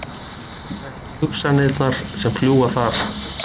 Þekki hugsanirnar sem fljúga þar.